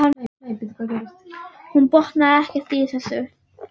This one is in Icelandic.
Hún botnaði ekkert í þessu.